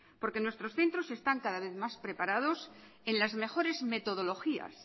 porque nuestros centros están cada vez más preparados en las mejores metodologías